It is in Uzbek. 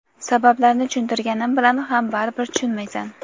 Sabablarni tushuntirganim bilan ham baribir tushunmaysan.